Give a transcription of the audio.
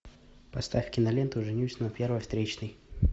поставь киноленту женюсь на первой встречной